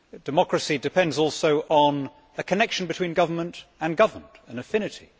Democracy depends also on a connection between government and governed an affinity.